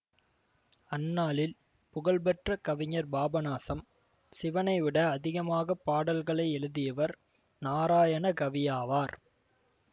அந்நாளில் புகழ்பெற்ற கவிஞர் பாபநாசம் சிவனைவிட அதிகமாக பாடல்களை எழுதியவர் நாராயணகவியாவார்